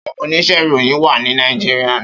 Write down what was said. Áwòn óníṣè iróyin wà ni Nàijiriá